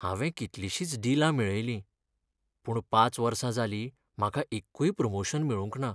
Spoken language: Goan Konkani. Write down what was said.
हांवें कितलिशींच डिलां मेळयलीं, पूण पांच वर्सां जालीं म्हाका एक्कूय प्रमोशन मेळूंक ना.